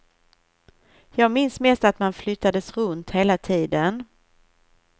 Jag minns mest att man flyttades runt hela tiden.